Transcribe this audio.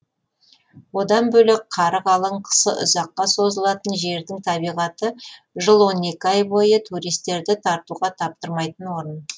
одан бөлек қары қалың қысы ұзаққа созылатын жердің табиғаты жыл он екі ай бойы туристерді тартуға таптырмайтын орын